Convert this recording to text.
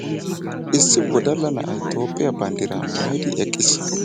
Issi wodalla na'ay toophphiyaa banddiraa maayidi eqqiis.